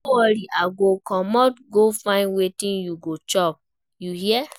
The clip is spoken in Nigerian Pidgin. No worry, I go comot go find wetin you go chop, you hear?